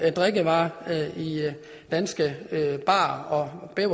drikkevarer i danske barer